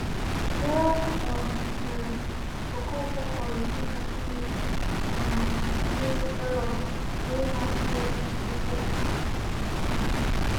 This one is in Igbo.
Ya um mere, Okonkwo ghọrọ dị ka Chineke um nye Aaron, onye na-asị okwu Okonkwo. um